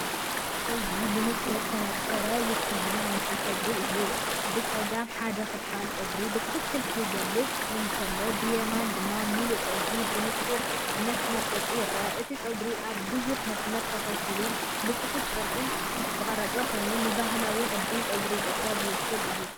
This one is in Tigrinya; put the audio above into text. እዚ ብንጹር ዝተነጸረ ውክልና ናይቲ ጸጉሪ እዩ። ብጸጋም ሓደ ክፋል ጸጉሪ ብትኽክል ክግለጽ እንከሎ፡ ብየማን ድማ ምሉእ ጸጉሪ ብንጹር መስመርን ቅርጽን ይርአ። እቲ ጸጉሪ ኣብ ብዙሕ መስመራት ተኸፋፊሉ ብጽፉፍ ቅርጺ ዝተቐርጸ ኮይኑ፡ንባህላዊ ቅዲ ጸጉሪ ኢትዮጵያ ዝውክል እዩ።